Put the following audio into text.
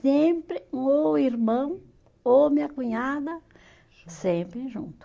Sempre, ou irmão, ou minha cunhada, sempre junto.